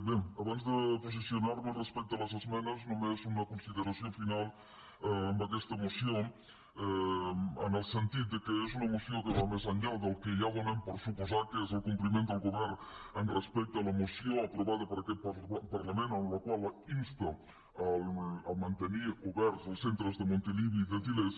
bé abans de posicionar me respecte a les esmenes només una consideració final amb aquesta moció en el sentit que és una moció que va més enllà del que ja donem per suposat que és el compliment del govern respecte a la moció aprovada per aquest parlament en la qual insta a mantenir oberts els centres de montilivi i de til·lers